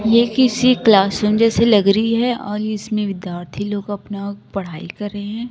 ये किसी class room जैसी लग रहीं हैं और इसमें विद्यार्थी लोग अपना पढ़ाई कर रहें हैं।